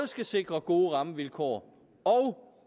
skal sikre gode rammevilkår og